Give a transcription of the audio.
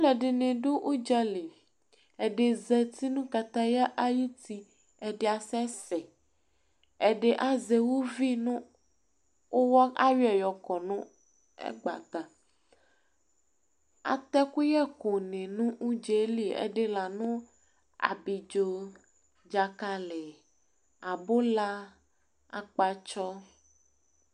ɔlɔdini du udzali ɛdi zatinu kataya ayu ti ɛdia sɛsɛ , ɛdi azɛ uvi nu uwɔ ayɔɛ yɔkɔ nu ɛgbata atɛkuyɛ kuni nu udzeli ɛdi lanu abidzo dzakali abula akpatsɔ